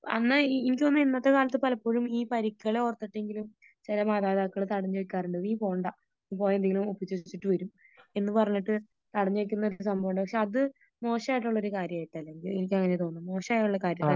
അന്ന് എനിക്ക് തോന്നുന്നു ഇന്നത്തെ കാലത്ത് പലപ്പോഴും ഈ പരിക്കുകളെ ഓർത്തിട്ടെങ്കിലും ചില മാതാപിതാക്കൾ തടഞ്ഞു വെക്കാറുണ്ട് . നീ പോകണ്ട നീ പോയാൽ എന്തെങ്കിലും ഒപ്പിച്ച് വച്ചിട്ട് വരും എന്ന് പറഞ്ഞിട്ട് തടഞ്ഞു വെക്കുന്ന ഒരു സംഭവമുണ്ട്. പക്ഷേ അത് മോശമായിട്ടുള്ള ഒരു കാര്യമായിട്ടാണ് എനിക്ക് അങ്ങനെയാ തോന്നുന്നേ മോശായുള്ള ഒരു കാര്യം